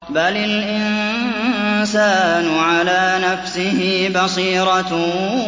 بَلِ الْإِنسَانُ عَلَىٰ نَفْسِهِ بَصِيرَةٌ